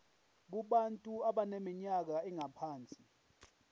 kubantu abaneminyaka engaphansi